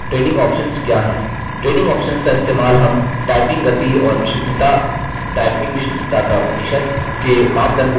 training options का इस्तेमाल हम typing गति और विशुद्धता typing विशुद्धता का प्रतिशत के मापदंडों को बदलने के लिए करते हैं